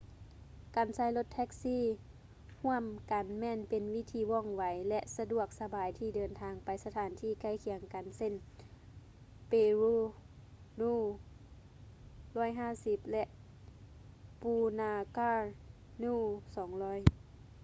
ການໃຊ້ລົດແທັກຊີຮ່ວມກັນແມ່ນເປັນວິທີວ່ອງໄວ ແລະ ສະດວກສະບາຍທີ່ເດີນທາງໄປສະຖານທີ່ໃກ້ຄຽງກັນເຊັ່ນ: paro nu 150 ແລະ punakha nu 200